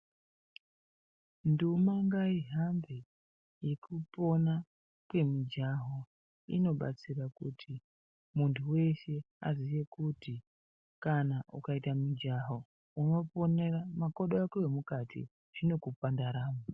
Nduma ngaihambe yekupona kwemijaho, inobatsira kuti muntu veshe aziye kuti kana ukaita mujaho unoponera makodo ako emukati anokupa ndaramo.